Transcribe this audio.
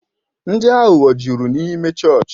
Ndị aghụghọ jụrụ n'ịme chọọchị